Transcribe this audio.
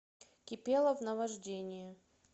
кипелов наважденье